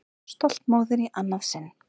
Stolt móðir í annað sinn.